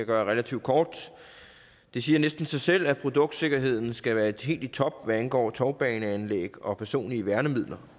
gøre relativt kort det siger næsten sig selv at produktsikkerheden skal være helt i top hvad angår tovbaneanlæg og personlige værnemidler